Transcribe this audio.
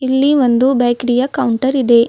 ಇಲ್ಲಿ ಒಂದು ಬೇಕರಿ ಯ ಕೌಂಟರ್ ಇದೆ.